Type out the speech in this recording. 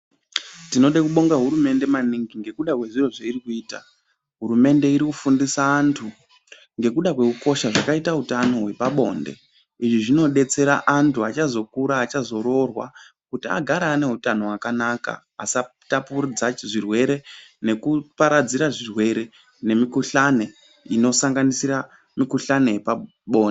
Tinode kubonga hurumende maningi ngekuda kwezviro zveirikuita. Hurumende irikufundisa antu ngekuda kwekukosha kwakaita utano wepabonde. Izvi zvinodetsera antu achazokura achazoroorwa kuti agare ane utano hwakanaka asatapudza zvirwere nekuparadzira zvirwere nemikhulane inosanganisa mikhuhlani yepabonde.